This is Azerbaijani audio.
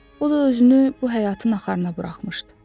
O da özünü bu həyatın axarına buraxmışdı.